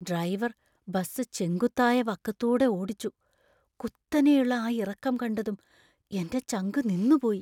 Driver bus ചെങ്കുത്തായ വക്കത്തൂടെ ഓടിച്ചു, കുത്തനെയുള്ള ആ ഇറക്കം കണ്ടതും എന്‍റെ ചങ്കു നിന്നുപോയി.